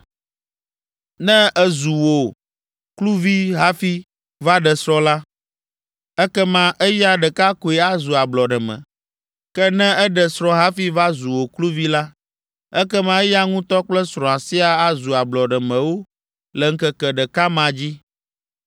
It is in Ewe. “Ne ezu wò kluvi hafi va ɖe srɔ̃ la, ekema eya ɖeka koe azu ablɔɖeme. Ke ne eɖe srɔ̃ hafi va zu wò kluvi la, ekema eya ŋutɔ kple srɔ̃a siaa azu ablɔɖemewo le ŋkeke ɖeka ma dzi.